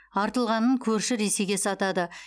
артылғанын көрші ресейге сатады